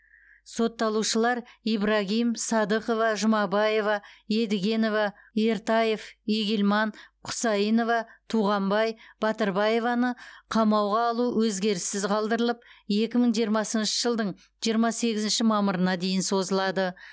сотталушылар ибрагим садықова жұмабаева едигенева ертаев игильман кұсаинова туғанбай батырбаеваны қамауға алу өзгеріссіз қалдырылып екі мың жиырмасыншы жылдың жиырма сегізінші мамырына дейін созылады